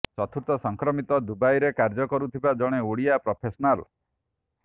ଚତୁର୍ଥ ସଂକ୍ରମିତ ଦୁବାଇରେ କାର୍ଯ୍ୟ କରୁଥିବା ଜଣେ ଓଡିଆ ପ୍ରଫେସନାଲ